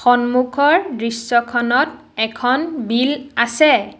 সন্মুখৰ দৃশ্যখনত এখন বিল আছে।